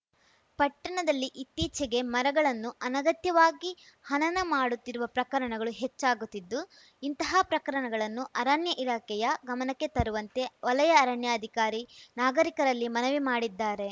ಪಟ್ಟಣದಲ್ಲಿ ಇತ್ತೀಚಿಗೆ ಮರಗಳನ್ನು ಅನಗತ್ಯವಾಗಿ ಹನನ ಮಾಡುತ್ತಿರುವ ಪ್ರಕರಣಗಳು ಹೆಚ್ಚಾಗುತ್ತಿದ್ದು ಇಂತಹ ಪ್ರಕರಣಗಳನ್ನು ಅರಣ್ಯ ಇಲಾಖೆಯ ಗಮನಕ್ಕೆ ತರುವಂತೆ ವಲಯ ಅರಣ್ಯಾಧಿಕಾರಿ ನಾಗರಿಕರಲ್ಲಿ ಮನವಿ ಮಾಡಿದ್ದಾರೆ